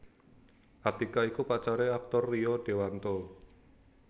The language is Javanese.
Atiqah iku pacare aktor Rio Dewanto